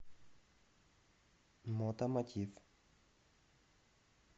мотомотив